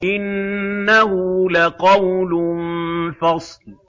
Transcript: إِنَّهُ لَقَوْلٌ فَصْلٌ